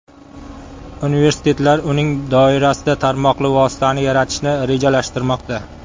Universitetlar uning doirasida tarmoqli vositani yaratishni rejalashtirmoqda.